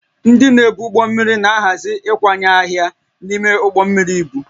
Ndị na-ebu ụgbọ mmiri na-ahazi ịkwanye arịa n'ime ụgbọ mmiri ibu